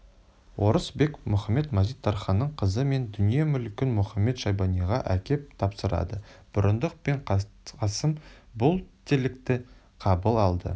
орыс бек мұхамед-мазит-тарханның қызы мен дүние-мүлкін мұхамед-шайбаниға әкеп тапсырады бұрындық пен қасым бұл тілекті қабыл алды